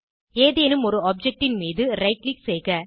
ஏதேனும் ஒரு objectன் மீது ரைட் க்ளிக் செய்க